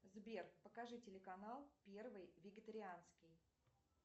сбер покажи телеканал первый вегетарианский